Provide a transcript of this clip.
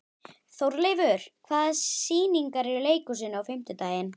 Þórleifur, hvaða sýningar eru í leikhúsinu á fimmtudaginn?